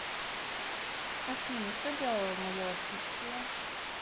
афина что делала в мое отсутствие